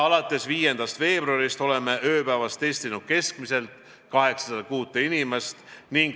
Alates 5. veebruarist oleme ööpäevas testinud keskmiselt 806 inimest.